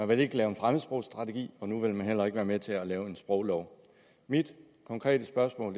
vil ikke lave en fremmedsprogsstrategi og nu vil man heller ikke være med til at lave en sproglov mit konkrete spørgsmål